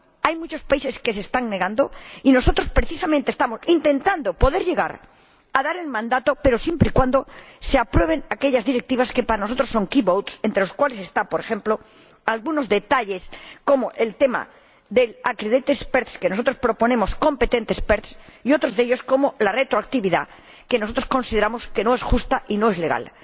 Hay muchos países que se están negando, y nosotros precisamente estamos intentando poder llegar a dar el mandato, pero siempre y cuando se aprueben aquellas directrices que para nosotros son votaciones clave, entre las cuales están, por ejemplo, algunos detalles como el tema de los expertos acreditados que nosotros proponemos que sean expertos competentes, y otros como la retroactividad, que nosotros consideramos que no es justa y no es legal.